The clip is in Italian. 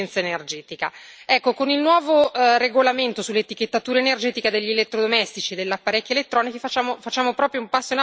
Con il nuovo regolamento sull'etichettatura energetica degli elettrodomestici e degli apparecchi elettronici facciamo proprio un passo in avanti in questa direzione.